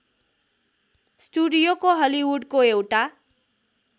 स्टुडियोको हलिवुडको एउटा